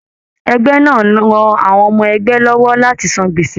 Ẹgbẹ náà rán àwọn ọmọ ẹgbẹ lọwọ láti sàn gbese.